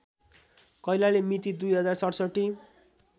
कैलाली मिति २०६७